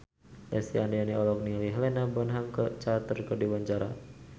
Lesti Andryani olohok ningali Helena Bonham Carter keur diwawancara